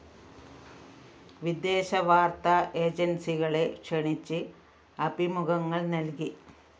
വിദേശവാര്‍ത്താ ഏജന്‍സികളെ ക്ഷണിച്ച് അഭിമുഖങ്ങള്‍ നല്‍കി